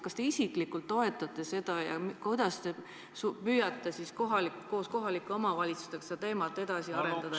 Kas te isiklikult toetate seda ja kuidas te püüate koos kohalike omavalitsustega seda teemat edasi arendada ...